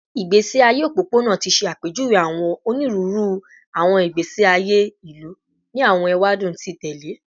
Igbesi aye opopona ti ṣe apejuwe awọn oniruuru awọn igbesi aye ilu ni awọn ewadun ti tẹlẹ